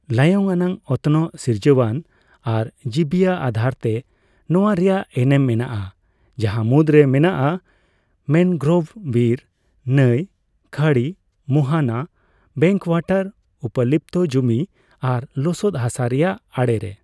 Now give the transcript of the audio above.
ᱞᱟᱭᱚᱝ ᱟᱱᱟᱜ, ᱚᱛᱱᱚᱜᱼ ᱥᱤᱨᱡᱚᱱᱟᱱ ᱟᱨ ᱡᱤᱵᱤᱭᱟ ᱟᱫᱷᱟᱨᱛᱮ ᱱᱚᱣᱟ ᱨᱮᱭᱟᱜ ᱮᱢᱮᱱ ᱢᱮᱱᱟᱜᱼᱟ ᱡᱟᱦᱟᱸ ᱢᱩᱫᱽᱨᱮ ᱢᱮᱱᱟᱜᱼᱟ ᱢᱮᱱᱜᱨᱳᱵᱷ ᱵᱤᱨ, ᱱᱟᱹᱭ, ᱠᱷᱟᱹᱲᱤ, ᱢᱳᱦᱱᱟ, ᱵᱮᱠᱣᱟᱴᱟᱨ, ᱩᱯᱚᱞᱤᱯᱛᱚ ᱡᱩᱢᱤ ᱟᱨ ᱞᱚᱚᱫ ᱦᱟᱥᱟ ᱨᱮᱭᱟᱜ ᱟᱲᱮᱨᱮ ᱾